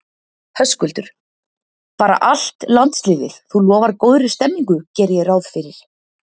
Höskuldur: Bara allt landsliðið, þú lofar góðri stemmningu geri ég ráð fyrir?